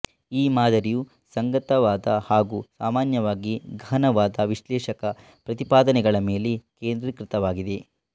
ಈ ಮಾದರಿಯು ಸಂಗತವಾದ ಹಾಗು ಸಾಮಾನ್ಯವಾಗಿ ಗಹನವಾದ ವಿಶ್ಲೇಷಕ ಪ್ರತಿಪಾದನೆಗಳ ಮೇಲೆ ಕೇಂದ್ರೀಕೃತವಾಗಿದೆ